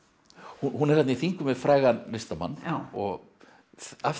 hún er í þingum við frægan listamann og af því